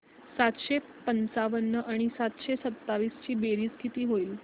सातशे पंचावन्न आणि सातशे सत्तावीस ची बेरीज किती होईल